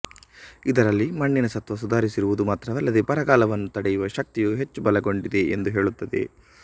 ಇದರಲ್ಲಿ ಮಣ್ಣಿನ ಸತ್ವ ಸುಧಾರಿಸಿರುವುದು ಮಾತ್ರವಲ್ಲದೆ ಬರಗಾಲವನ್ನು ತಡೆಯುವ ಶಕ್ತಿಯೂ ಹೆಚ್ಚು ಬಲಗೊಂಡಿದೆ ಎಂದು ಹೇಳುತ್ತದೆ